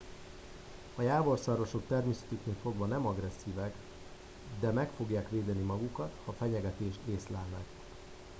a jávorszarvasok természetüknél fogva nem agresszívek de meg fogják védeni magukat ha fenyegetést észlelnek